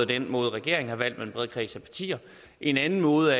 den måde regeringen har valgt at en bred kreds af partier en anden måde